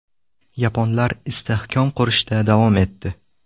Yaponlar istehkom qurishda davom etdi.